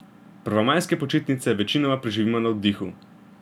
Prvomajske počitnice večinoma preživimo na oddihu.